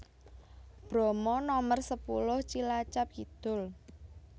Bromo Nomer sepuluh Cilacap Kidul